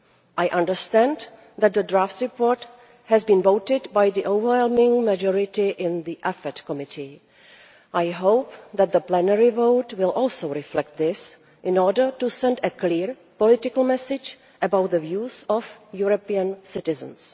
I understand that the draft report has been adopted by an overwhelming majority in the Committee on Foreign Affairs I hope that the plenary vote will also reflect this, in order to send a clear political message about the views of European citizens.